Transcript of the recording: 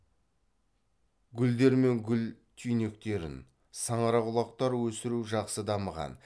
гүлдер мен гүл түйнектерін саңырауқұлақтар өсіру жақсы дамыған